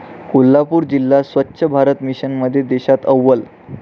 कोल्हापूर जिल्हा स्वच्छ भारत मिशनमध्ये देशात अव्वल